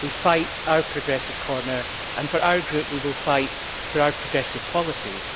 We fight our progressive corner and, for our group, we will fight for our progressive policies.